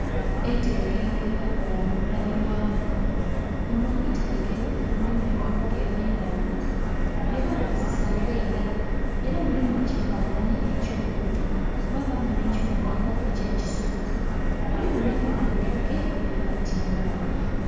Eiterekero lyebaakola mu ndhabirwamu. Muno mu iterekero mulimu ebivuga eby'endhaghulo byebaakozesanga eira, era mulimu ekifanhanhi eky'omuntu mwabaamu n'ekifanhanhi eky'ekisolo mulimu n'ebighandiike byebatimbamu.